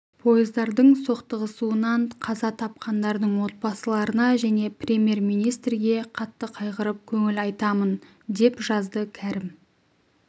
пойыздардың соқтығысуынан қаза тапқандардың отбасыларына және премьер-министр ге қатты қайғырып көңіл айтамын деп жазды кәрім